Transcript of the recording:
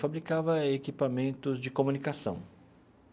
Fabricava equipamentos de comunicação.